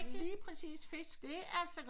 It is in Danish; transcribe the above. Lige præcis fisk det er så godt